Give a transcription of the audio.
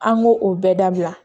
An k'o o bɛɛ dabila